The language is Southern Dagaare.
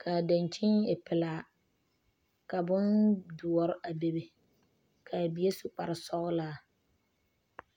ka a daŋkyini e pelaa ka bondoɔre a be be ka a bie su kpare sɔglaa.